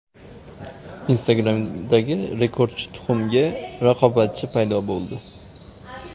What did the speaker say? Instagram’dagi rekordchi tuxumga raqobatchi paydo bo‘ldi.